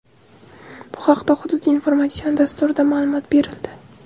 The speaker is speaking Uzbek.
Bu haqda Hudud informatsion dasturida maʼlumot berildi.